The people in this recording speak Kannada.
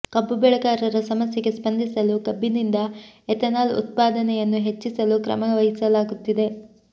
ಕಬ್ಬು ಬೆಳೆಗಾರರ ಸಮಸ್ಯೆಗೆ ಸ್ಪಂದಿಸಲು ಕಬ್ಬಿನಿಂದ ಎಥೆನಾಲ್ ಉತ್ಪಾದನೆಯನ್ನು ಹೆಚ್ಚಿಸಲು ಕ್ರಮ ವಹಿಸಲಾಗುತ್ತಿದೆ